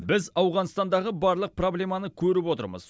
біз ауғанстандағы барлық проблеманы көріп отырмыз